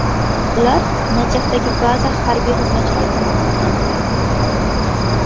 Ular Najafdagi baza harbiy xizmatchilari tomonidan aniqlandi.